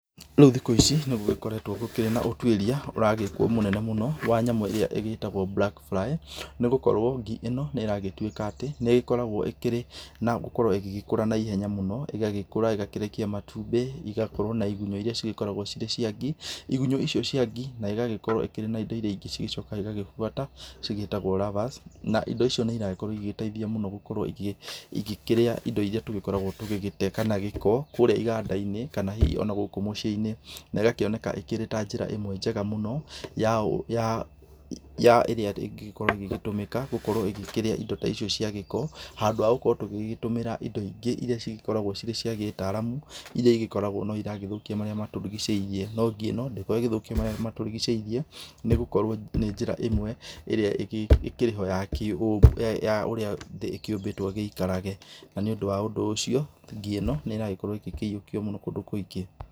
Rĩu thikũ ici nĩgũgĩkoretwo kũrĩ na ũtuĩria ũragĩkwo mũnene mũno wa nyamũ ĩrĩa ĩgĩtgwo black fly. Nĩ gũkorwo ngi ĩno, nĩ ĩragĩtuĩka atĩ nĩ ĩkoragwo ĩkĩrĩ na gũgĩkorwo ĩgĩkũra na ihenya mũno. ĩgagĩkũra, ĩgakĩrekia matumbĩ, igagĩkorwo na igunyũ iria cigĩkoragwo cirĩ cia ngi. Igunyũ icio cia ngi, na igagĩkorwo irĩ na indo ingĩ iria cigĩcokaga cigagĩbuata, cigĩtagwo larvas. Na indo icio nĩ iragĩkorwo igĩteithia mũno gũkorwo igĩkĩrĩa indo iria tũgĩkoragwo tũgĩgĩte kana gĩko kũrĩa iganda-inĩ kana hihi ona gũkũ muciĩ-inĩ. Na ĩgakĩoneka ĩkĩrĩ ta njĩra ĩmwe njega mũno ĩrĩa ĩngĩkorwo ĩgĩtũmĩka gũkorwo ĩgĩkĩrĩrĩa indo ta icio ũguo cia gĩko, handũ ha gũkorwo tũgĩtũmĩra indo ingĩ iria cikoragwo irĩ cia gĩĩtaramu. Iria ikoragwo no iragúgĩthũkia marĩa matũrigicĩirie. No ngi ĩno, ndĩkoragwo ĩgĩthũkia marĩa matũrigicĩirie, nĩ gũkorwo nĩ njĩra ĩmwe ĩría ĩkoragwo ĩkĩrĩ ho ya ũrĩa ĩgĩkoragwo ĩkĩũmbĩtwo ĩgĩikarage. Na nĩ ũndũ wa ũndũ ũcio ngi ĩno nĩragĩkorwo ĩkĩyiũkio mũno kũndũ kũingĩ.